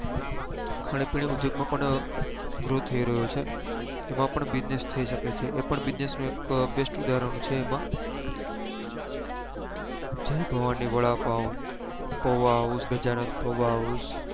ખાણીપીણી ઉદ્યોગ માં પણ grow થઇ રહ્યો છે એમાં પણ business થઇ સકે છે એ પણ business એક best ઉદાહરણ છે એમાં જય ભવાની વડાપાવ પૌઆ house ગજાનંદ પૌઆ house